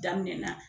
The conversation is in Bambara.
Daminɛna